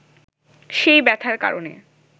সেই ব্যথার কারণে